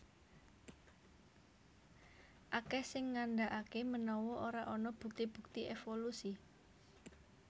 Akèh sing ngandhakaké menawa ora ana bukti bukti évolusi